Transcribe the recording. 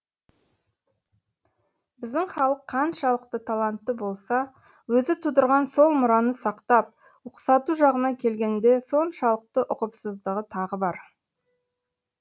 біздің халық қаншалықты талантты болса өзі тудырған сол мұраны сақтап ұқсату жағына келгенде соншалықты ұқыпсыздығы тағы бар